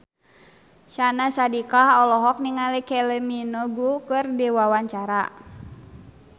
Syahnaz Sadiqah olohok ningali Kylie Minogue keur diwawancara